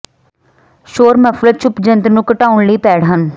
ਸ਼ੋਰ muffler ਚੁੱਪ ਜੰਤਰ ਨੂੰ ਘਟਾਉਣ ਲਈ ਪੈਡ ਹਨ